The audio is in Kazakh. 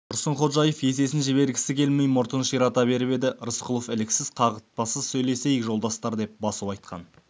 тұрсынходжаев есесін жібергісі келмей мұртын ширата беріп еді рысқұлов іліксіз қағытпасыз сөйлесейік жолдастар деп басу айтқан